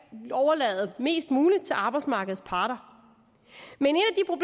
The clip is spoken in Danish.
overlade mest muligt til arbejdsmarkedets parter men